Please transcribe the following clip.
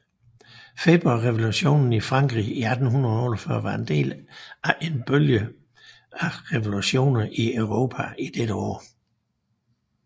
Februarrevolutionen i Frankrig i 1848 var en del af en bølge af revolutioner i Europa i dette år